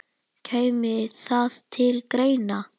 Kæmi það til greina?